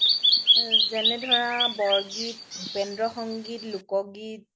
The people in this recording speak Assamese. যেনে ধৰা বৰগীত, ভূপেন্দ্ৰ সংগীত, লোকগীত